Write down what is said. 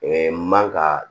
man ka